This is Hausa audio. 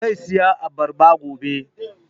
Zai saya abarba gobe